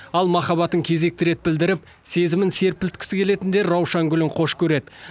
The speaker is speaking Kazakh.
ал махаббатын кезекті рет білдіріп сезімін серпілткісі келетіндер раушан гүлін қош көреді